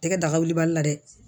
Tɛgɛ daga wuli bali la dɛ